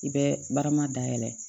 I bɛ barama dayɛlɛ